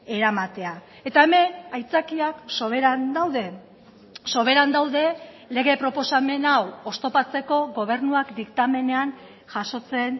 eramatea eta hemen aitzakiak soberan daude soberan daude lege proposamen hau oztopatzeko gobernuak diktamenean jasotzen